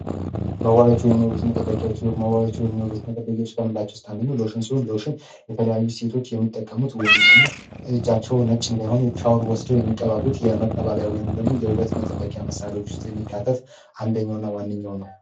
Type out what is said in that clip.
መዋቢያዎች ወይም የዉበት መጠበቂያዎች መዋቢያዎች ወይም የዉበት መጠበቂያዎች ከምላቸው ውስት አንደኛው ሎሽን ሲሆን የተለያዩ ሴቶች የሚጠቀሙት ወይንም ደግሞ እጃቸው ነጭ እንዳይሆን ሻወር ወስደው የሚቀባቡት የመቀባቢያ ወይንም ደግሞ የውበት መጠበቂያ መሣሪዎች ውስጥ የሚካተት አንደኘውና ዋንኛው ነው።